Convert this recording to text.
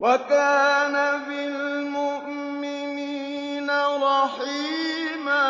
وَكَانَ بِالْمُؤْمِنِينَ رَحِيمًا